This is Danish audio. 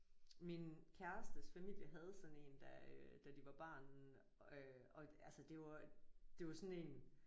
Min kærestes familie havde sådan en da øh da de var barn øh og altså det var det var sådan en